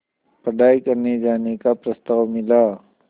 पढ़ाई करने जाने का प्रस्ताव मिला